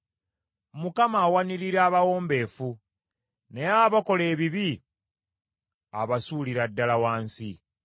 Mukama awanirira abawombeefu, naye abakola ebibi abasuulira ddala wansi.